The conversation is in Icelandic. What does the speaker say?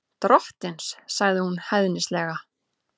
Drottins, sagði hún hæðnislega.